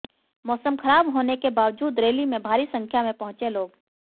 मौसम खराब होने के बावजूद रैली में भारी संख्या में पहुँचे लोग